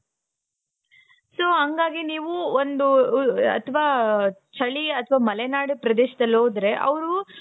So ಹಂಗಾಗಿ ನೀವು ಒಂದು ಅಥವಾ ಚಳಿ ಅಥವಾ ಮಲೆನಾಡು ಪ್ರದೇಶದಲ್ಲಿ ಹೋದರೆ ಅವರು